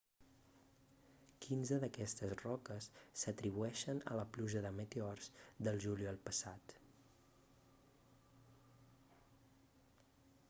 quinze d'aquestes roques s'atribueixen a la pluja de meteors del juliol passat